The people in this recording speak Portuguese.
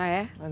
Ah, é?